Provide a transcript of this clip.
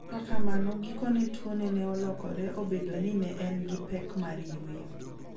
kata kamano gikone tuone ne olokore obedo ni ne en gi pek mar yweyo.